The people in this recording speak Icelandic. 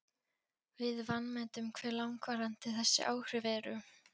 Við vanmetum hve langvarandi þessi áhrif eru.